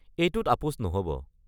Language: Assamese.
এইটোত আপোচ নহ'ব।